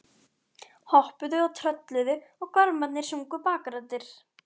Hoppuðu og trölluðu og gormarnir sungu bakraddir.